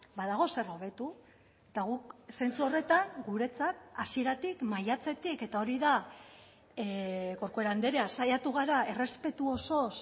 badago zer hobetu eta guk zentzu horretan guretzat hasieratik maiatzetik eta hori da corcuera andrea saiatu gara errespetu osoz